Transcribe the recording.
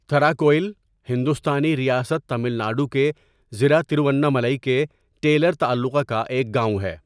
تھراکوئل ہندوستانی ریاست تامل ناڈو کے ضلع تروونملائی کے ٹیلر تعلقہ کا ایک گاؤں ہے۔